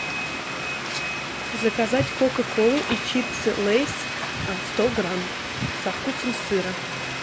заказать кока колу и чипсы лейс сто грамм со вкусом сыра